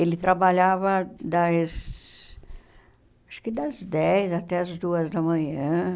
Ele trabalhava, das acho que das dez até as duas da manhã.